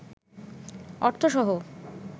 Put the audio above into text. অর্থসহ